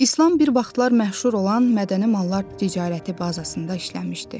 İslam bir vaxtlar məşhur olan mədəni mallar ticarəti bazasında işləmişdi.